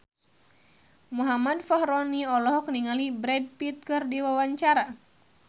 Muhammad Fachroni olohok ningali Brad Pitt keur diwawancara